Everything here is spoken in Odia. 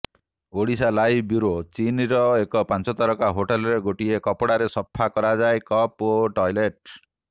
ଓଡ଼ିଶାଲାଇଭ୍ ବ୍ୟୁରୋ ଚୀନର ଏକ ପଞ୍ଚତାରକା ହୋଟେଲରେ ଗୋଟିଏ କପଡ଼ାରେ ସଫା କରାଯାଏ କପ୍ ଓ ଟଏଲେଟ୍